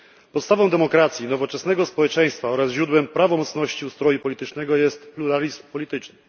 Podstawą demokracji, nowoczesnego społeczeństwa oraz źródłem prawomocności ustroju politycznego jest pluralizm polityczny.